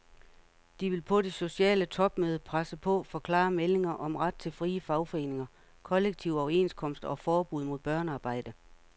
De vil på det sociale topmøde presse på for klare meldinger om ret til frie fagforeninger, kollektive overenskomster og forbud mod børnearbejde.